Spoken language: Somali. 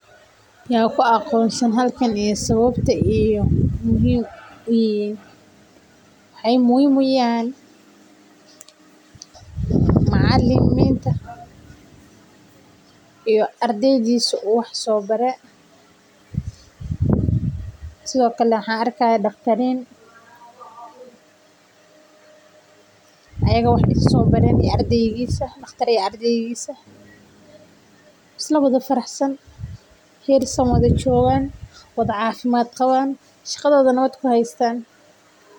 Ya ku aqoonsan halkan iyo sababta aay muhiim uyihiin waxaay muhiim uyihiin macaliminta iyo ardeysiida sido kale waxaan arki haaya daqtarin isla wada faraxsan.